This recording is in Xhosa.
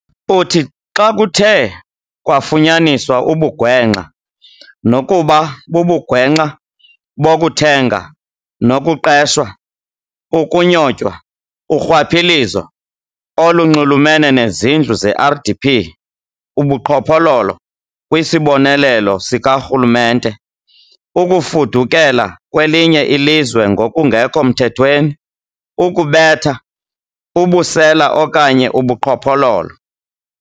Uthi xa kuthe kwafunyaniswa ubugwenxa - nokuba bubugwenxa bokuthenga nokuqeshwa, ukunyotywa, urhwaphilizo olunxulumene nezindlu ze-RDP, ubuqhophololo kwisibonelelo sikarhulumente, ukufudukela kwelinye ilizwe ngokungekho mthethweni, ukubetha, ubusela okanye ubuqhophololo.